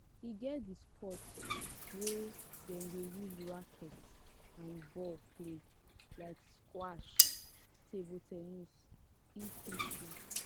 e get di sports wey dem de use racket and ball play like squash table ten nis etc